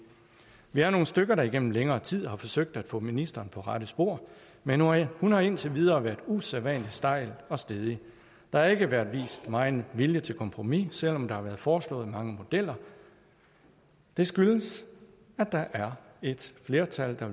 vi er nogle stykker der igennem længere tid har forsøgt at få ministeren på rette spor men hun har indtil videre været usædvanlig stejl og stædig der har ikke været vist megen vilje til kompromis selv om der har været foreslået mange modeller det skyldes at der er et flertal der